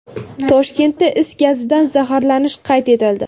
Toshkentda is gazidan zaharlanish qayd etildi.